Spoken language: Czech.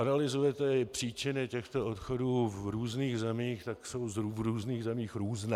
Analyzujete-li příčiny těchto odchodů v různých zemích, tak jsou v různých zemích různé.